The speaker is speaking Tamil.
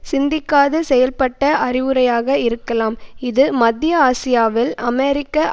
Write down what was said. சிந்திக்காது செயல்ப்பட்ட அறிவுரையாக இருக்கலாம் இது மத்திய ஆசியாவில் அமெரிக்க